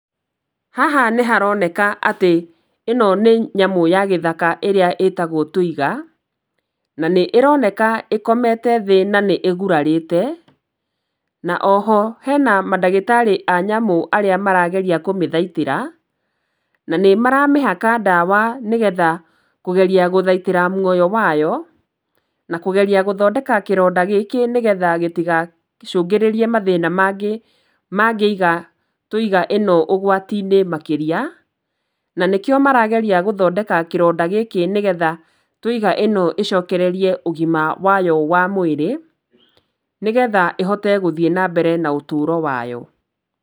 Haha nĩ haroneka atĩ ĩno nĩ nyamũ ya gĩthaka ĩrĩa ĩtagwo Twiga, na nĩ ĩroneka ĩkomete thĩ na nĩ ĩgurarĩte, na oho hena mandagĩtarĩ a nyamũ arĩa marageria kũmĩthaitĩra, na nĩ maramĩhaka ndawa nĩgetha kũgeria gũthaitĩra muoyo wayo, na kũgeria gũthondeka kĩronda gĩkĩ nĩgetha gitigacũngirĩrie mathĩna mangĩ mangĩiga Twiga ĩno ũgwati-inĩ makĩria, na nĩkĩo marageria gũthondeka kĩronda gĩkĩ nĩgetha Twiga ĩno ĩcokererie ũgima wayo wa mwĩrĩ, nĩgetha ĩhote gũthiĩ na mbere na ũtũũro wayo.